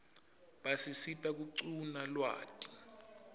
basisita kuquna lwati